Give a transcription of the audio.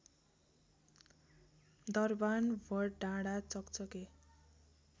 दरबान वडडाँडा चकचके